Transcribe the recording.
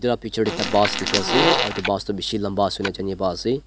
ah picture teh ekta bus dikhi ase aru etu tu bishi lamba ase pa ase.